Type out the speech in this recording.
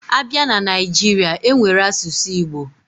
Abia na Naijiri, enwere asusu Igbo